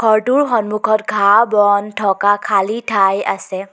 ঘৰটোৰ সন্মুখত ঘাঁহ বন থকা খালী ঠাই আছে।